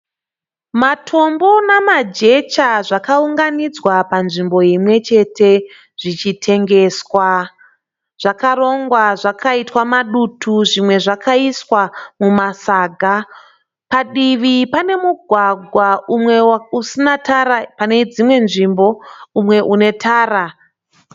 Matombo nemajecha zvakaunganidzwa panzvimbo imwe chete zvichitengeswa. Zvakarongwa zvakaitwa madutu zvimwe zvakaiswa mumasaga. Padiwi pane mugwagwa umwe usina tara pane dzimwe nzvimbo umwe une tara.